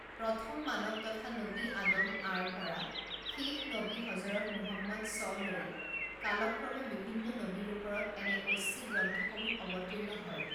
প্ৰথম মানৱ তথা নবী আদম আঃ ৰ পৰা শেষ নবী হজৰত মুহাম্মাদ ছঃ লৈ কালক্ৰমে বিভিন্ন নবীৰ ওপৰত এনে ঐশ্বিক গ্ৰন্থসমূহ অৱতীৰ্ণ হয়।